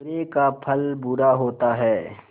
बुरे का फल बुरा होता है